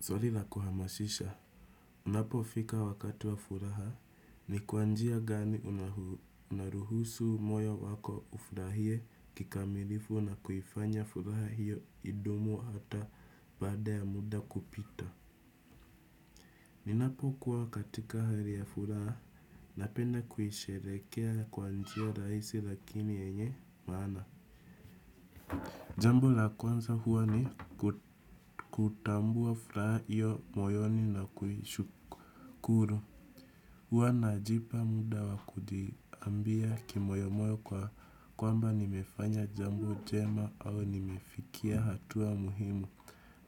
Swali la kuhamasisha. Unapofika wakati wa furaha, ni kwa njia gani unaruhusu moyo wako ufurahie kikamilifu na kuifanya furaha iyo idumu hata baada ya muda kupita? Ninapo kuwa katika hali ya furaha, napenda kuisheherekea kwa hnjia raisi lakini yenye maana. Jambo la kwanza huwa ni kutambua furaha iyo moyoni na kuishukuru. Huwa najipa muda wa kujiambia kimoyomoyo kwamba nimefanya jambo jema au nimefikia hatua muhimu.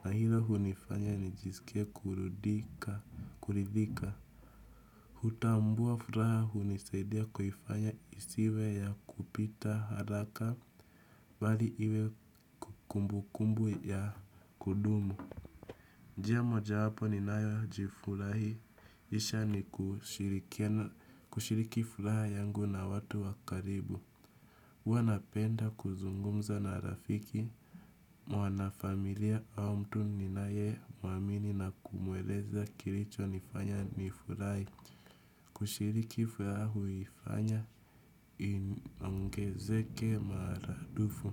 Na hilo hunifanya nijisike kuridhika. Kuridhika hutambua furaha hunisaidia kuifanya isiwe ya kupita haraka, bali iwe kumbu kumbu ya kudumu. Njia moja wapo ninayojifurahisha ni kushiriki furaha yangu na watu wakaribu. Huwa napenda kuzungumza na rafiki, mwanafamilia au mtu ninaye muamini na kumueleza kilichonifanya nifurahi. Kushiriki furaha huifanya inongezeke maradufu.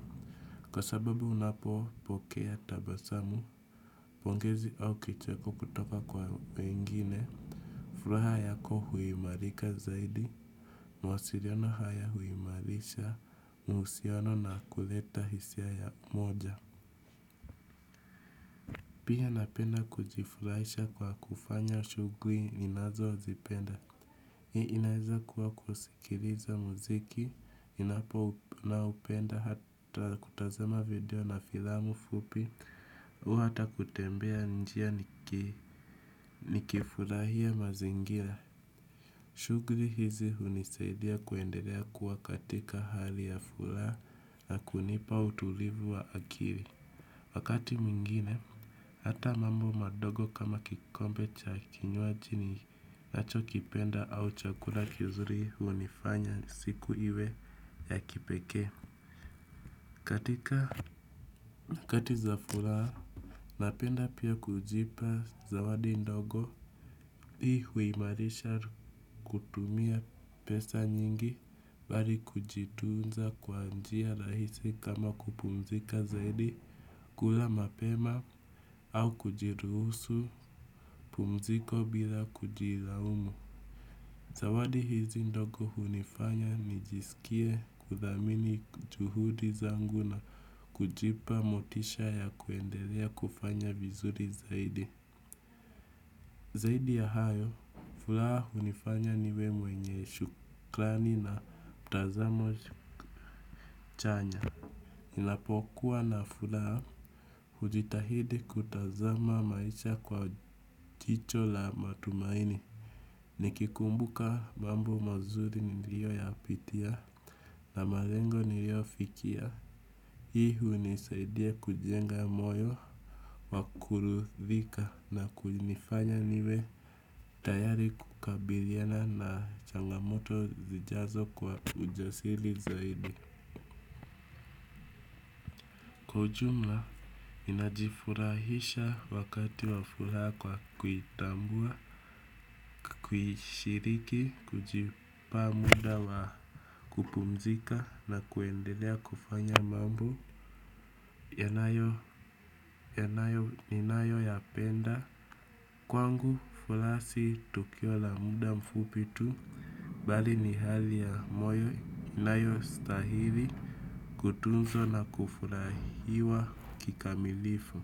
Kwa sababu unapopokea tabasamu, pongezi au kicheko kutoka kwa wengine furaha yako huimarika zaidi, mawasiliano haya huimarisha, uhusiano na kuleta hisia ya moja. Pia napenda kujifurahisha kwa kufanya shughuli ninazozipenda. Hii inaweza kuwa kusikiliza muziki, napo naoupenda hata kutazama video na filamu fupi, au hata kutembea njia nikifurahia mazingira. Shughuli hizi hunisaidia kuendelea kuwa katika hali ya furaha na kunipa utulivu wa akili. Wakati mwingine, hata mambo madogo kama kikombe cha kinywaji ninacho kipenda au chakula kizuri hunifanya siku iwe ya kipekee. Katika wakati za furaha, napenda pia kujipa zawadi ndogo. Hii huimarisha kutumia pesa nyingi, bali kujitunza kwa njia rahisi kama kupumzika zaidi. Kula mapema au kujiruhusu pumziko bila kujilaumu. Zawadi hizi ndogo hunifanya nijisikie kuthamini juhudi zangu na kujipa motisha ya kuendelea kufanya vizuri zaidi. Zaidi ya hayo, furaha hunifanya niwe mwenye shukrani na mtazamo chanya. Inapokuwa na furaha, hujitahidi kutazama maisha kwa chicho la matumaini nikikumbuka mambo mazuri niliyoyapitia, na malengo niliyofikia hii hunisaidia kujenga moyo, wa kurudhika na kunifanya niwe tayari kukabiliana na changamoto zijazo kwa ujasili zaidi. Kwa ujumla, ninajifurahisha wakati wa furaha kwa kuitambua, kuishiriki, kujipa muda wa kupumzika na kuendelea kufanya mambo yanayo, ninayoyapenda. Kwangu, furaha si tukio la muda mfupi tu, bali ni hali ya moyo inayostahili, kutunzwa na kufurahiwa kikamilifu.